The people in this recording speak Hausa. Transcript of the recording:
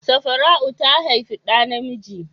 Safara'u ta haifi ɗa namiji.